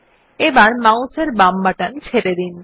এবার মাউস এর বাম বাটন ছেড়ে দিন